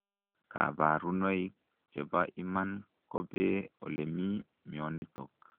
Kabarunoik chepa iman kopee olemii mionotok.